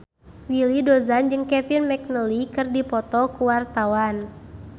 Willy Dozan jeung Kevin McNally keur dipoto ku wartawan